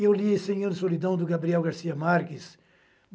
Eu li Senhor de Solidão, do Gabriel Garcia Marques.